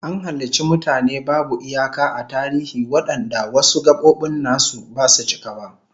An halicci mutane babu iyaka a tarihi wadanda wasu gabobin nasu basu cika ba